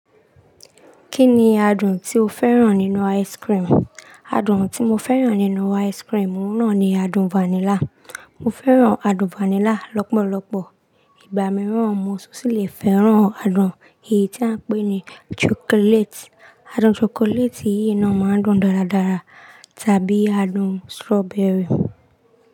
Kí ni adùn tí o fẹ́ràn nínú ice cream? Adùn tí mo fẹ́ràn nínú ice cream, òun náà ni adùn vanilla. Mo fẹ́ràn adùn vanilla lọ́pọ̀lọpọ̀. Ìgbà mìíràn mo tún sì le fẹ́ràn adùn èyí tí a ń pè ní chocolate. Adùn chocolate yìí náà máa ń dùn dáradára, tàbí adùn strawberry.